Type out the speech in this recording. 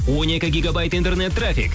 он екі гегабайт интернет трафик